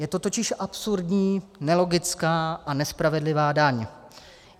Je to totiž absurdní, nelogická a nespravedlivá daň.